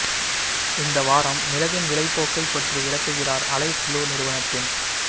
இந்த வாரம் மிளகின் விலை போக்கை பற்றி விளக்குகிறார் அலைஸ் ப்ளூ நிறுவனத்தின்